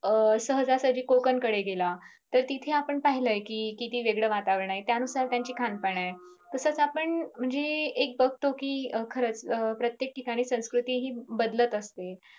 अं सहजासहजी कोकण कडे गेला तर तिथे आपण पाहिलं कि किती वेगळं वातावरण आहे त्यानुसार त्यांचं खानपान आहे तसेच आपण म्हणजे एक बगतो कि खरंच प्रत्येक ठिकाणी संस्कृती हि बदलत असते.